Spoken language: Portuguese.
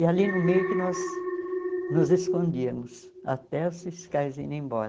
E ali no meio que nós nos escondíamos até os fiscais irem embora.